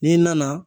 N'i nana